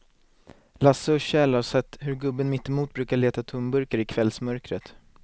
Lasse och Kjell har sett hur gubben mittemot brukar leta tomburkar i kvällsmörkret.